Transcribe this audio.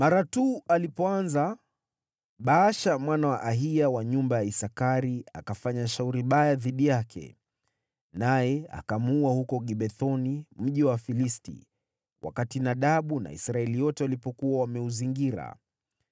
Baasha mwana wa Ahiya wa nyumba ya Isakari akafanya shauri baya dhidi yake, naye akamuua huko Gibethoni, mji wa Wafilisti, wakati Nadabu na Israeli yote walipokuwa wameuzingira.